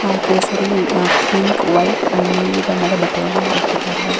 ಆ ಕೇಸರಿ and pink white and ನೀಲಿ ಬಣ್ಣದ ಬಟ್ಟೆಗಳನ್ನು ಹಾಕಿದ್ದಾರೆ ಹಾಗು --